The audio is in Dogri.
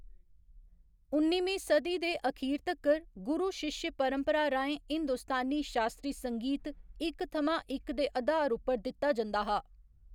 उन्निमीं सदी दे अखीर तक्कर, गुरु शिश्य परंपरा राहें हिंदुस्तानी शास्त्री संगीत इक थमां इक दे अधार उप्पर दित्ता जंदा हा।